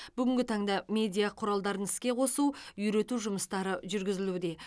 бүгінгі таңда медиа құралдарын іске қосу үйрету жұмыстары жүргізілуде